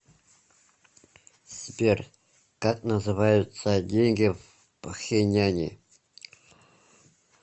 сбер как называются деньги в пхеньяне